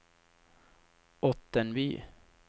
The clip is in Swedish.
Ottenby